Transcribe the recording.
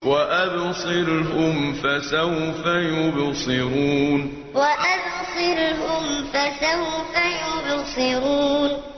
وَأَبْصِرْهُمْ فَسَوْفَ يُبْصِرُونَ وَأَبْصِرْهُمْ فَسَوْفَ يُبْصِرُونَ